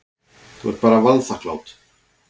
Þú ert bara vanþakklát.